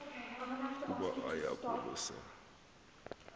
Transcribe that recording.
ukuba aye kwalusa